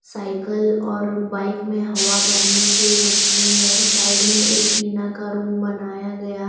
cycle और bike में हवा भरने के मशीन है साइड में एक टीना का रूम बनाया गया --